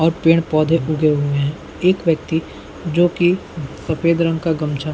और पेड़-पौधे उगे हुए है एक व्यक्ति जो कि सफ़ेद रंग का गमछा --